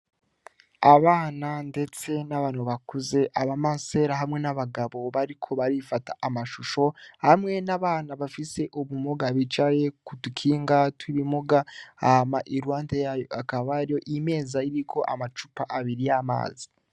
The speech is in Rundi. Abana, ndetse n'abanu bakuze aba masera hamwe n'abagabo bariko barifata amashusho hamwe n'abana bafise ubumoga bijare kudukinga twibimuga ama ilwande yayo akabaryo imeza y'iriko amacupa abiri yo amazi.